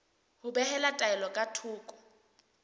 ho behela taelo ka thoko